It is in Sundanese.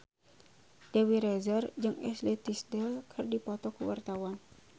Dewi Rezer jeung Ashley Tisdale keur dipoto ku wartawan